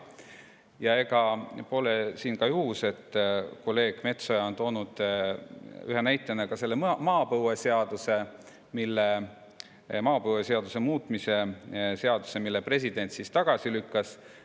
Ja ega pole ka juhus, et kolleeg Metsoja tõi ühe näitena selle maapõueseaduse muutmise seaduse, mille president tagasi lükkas.